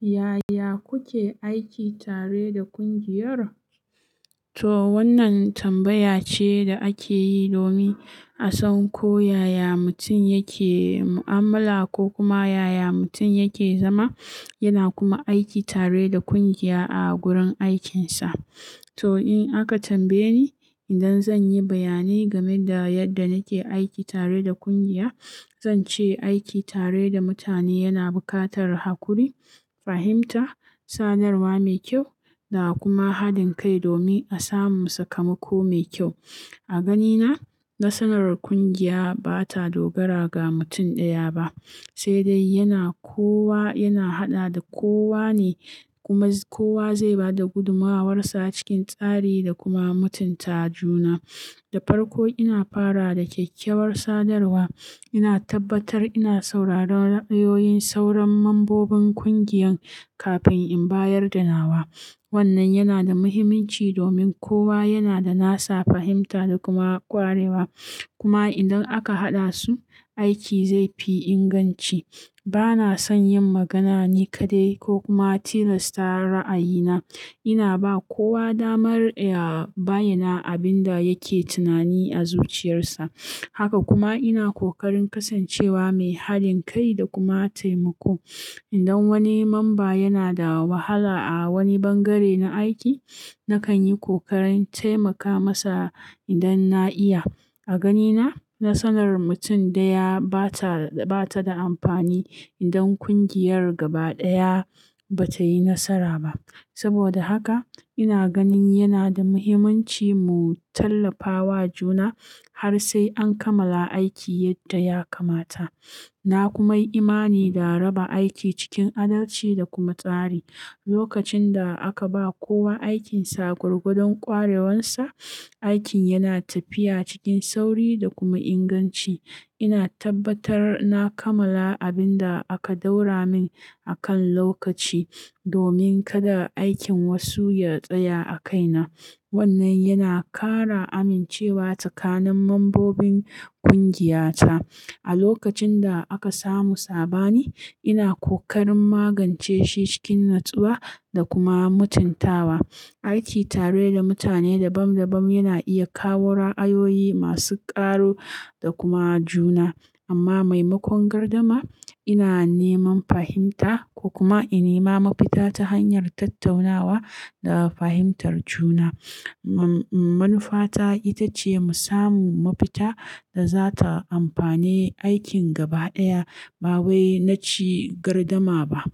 Yaya kuke aiki tare da ƙungiyar? To wannan tambaya ce da ake yi domin a san ko yaya mutum yake mu'amala ko kuma yaya mutum yake zama. Yana kuma aiki tare da ƙungiya a gurin aikinsa. To in aka tambaye ni, idan zan yi bayani game da yadda nake aiki tare da ƙungiya, zan ce aiki tare da mutane yana buƙatar haƙuri, fahimta, sadarwa mai kyau da kuma haɗin kai domin a samu sakamako mai kyau. A ganina, nasarar ƙungiya ba ta dogara ga mutum ɗaya ba, sai dai yana kowa, yana haɗa da kowa ne kuma kowa zai ba da gudumuwarsa cikin tsari da kuma mutunta juna. Da farko ina fara da kyakkyawar sadarwa. Ina tabbatar ina sauraron ra'ayoyin sauran mambobin ƙungiyan kafin in bayarda nawa. Wannan yana da muhimmanci domin kowa yana da nasa fahimta da kuma ƙwarewa. Kuma idan aka haɗa su, aiki zai fi inganci. Ba na son yin magana ni kaɗai ko kuma tilasta ra'ayina. Ina ba kowa damar ya bayyana abin da yake tunani a zuciyarsa. Haka kuma ina ƙoƙarin kasancewa mai haɗin kai da kuma taimako. Idan wani mamba yana da wahala a wani bangare na aiki, nakan yi ƙoƙarin taimaka masa idan na iya. A ganina, nasarar mutum ɗaya ba ta, ba ta da amfani idan ƙungiyar gaba ɗaya ba ta yi nasara ba. Saboda haka ina ganin yana da muhimmanci mu tallafa wa juna har sai an kammala aiki yadda ya kamata. Na kuma yi imani da raba aiki cikin adalci da kuma tsari. Lokacin da aka ba kowa aikinsa gwargwadon ƙwarewarsa, aikin yana tafiya cikin sauri da kuma inganci. Ina tabbatar na kammala abin da aka ɗaura min a kan lokaci domin kada aikin wasu ya tsaya a kaina. Wannan yana ƙara amincewa tsakanin mambobin ƙungiyata. A lokacin da aka samu saɓani, ina ƙoƙarin magance shi cikin natsuwa da kuma mutuntawa. Aiki tare da mutane dabam dabam yana iya kawo ra'ayoyi masu ƙaru da kuma juna. Amma maimakon gardama, ina neman fahimta ko kuma in nema mafita ta hanyar tattaunawa da fahimtar juna. Manufata ita ce mu samu mafita da za ta amfane aikin gaba ɗaya ba wai na ci gardama ba.